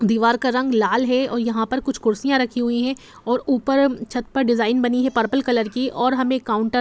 दीवार का रंग लाल है और यहाँ पर कुछ कुर्सियां रखी हुई है और ऊपर छत पर डिज़ाइन बनी हैं पर्पल कलर की और हमे काउंटर --